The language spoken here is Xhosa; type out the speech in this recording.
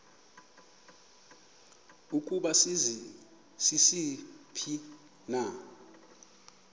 ukuba sisiphi na